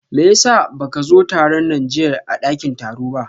meyasa baka zo tarun na jiyya a dakin taro ba?